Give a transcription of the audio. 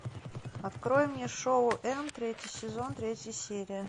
открой мне шоу энд третий сезон третья серия